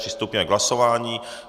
Přistoupíme k hlasování.